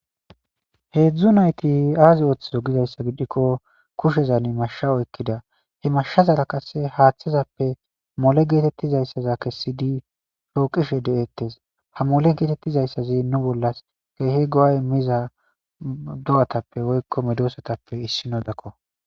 Heedzdzu nayti aazi ooththizo gizayssa gidikko kushezan mashsha oykkida he mashshazara qasse haaththazappe mole geetettizayssaza kessidi foqqishe de7ettes. Ha mole geetettizayssazi nu bollas keehi go7a immiza do7atappe woykko medoosatappe issinodakko.